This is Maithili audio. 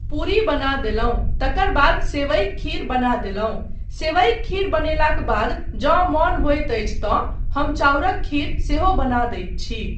पूरी बना देलहुँ तकर बाद सेवइक खीर बना देलहुँ, सेवइक खीर बनेलाक बाद जँ मन होइत अछि तँ हम चाउरक खीर सेहो बना दैत छी।